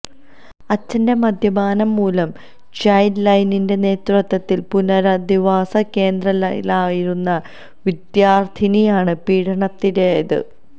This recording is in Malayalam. അച്ഛന്റെ മദ്യപാനം മൂലം ചൈല്ഡ് ലൈനിന്റെ നേതൃത്വത്തില് പുനരധിവാസ കേന്ദ്രത്തിലാകയിരുന്ന വിദ്യാര്ത്ഥിനിയാണ് പീഡനത്തിനിരയായത്